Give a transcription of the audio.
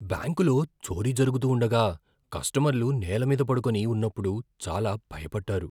బ్యాంకులో చోరీ జరుగుతూ ఉండగా, కస్టమర్లు నేల మీద పడుకొని ఉన్నప్పుడు, చాలా భయపడ్డారు.